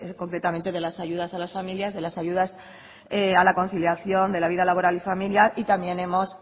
de las ayudas a las familias de las ayudas a la conciliación de la vida laboral y familiar y también hemos